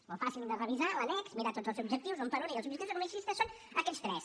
és molt fàcil de revisar l’annex mirar tots els objectius un per un i dir els objectius economicistes són aquests tres